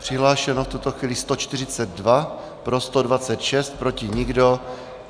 Přihlášeno v tuto chvíli 142, pro 126, proti nikdo.